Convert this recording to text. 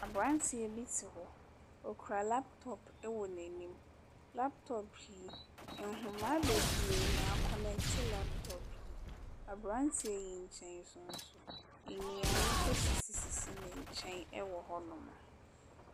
Abranteɛ bi te hɔ. Okura laptop wɔ n'anim. Laptop yi nhomaa bebree na akɔneɛkte laptop no. Abranteɛ yi nkyɛn nso, nnuane sisi ne nkyɛn wɔ hɔnom.